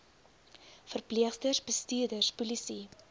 verpleegsters bestuurders polisie